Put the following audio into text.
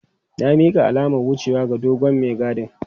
Na mika alamar wucewa ga dogon mai gadin.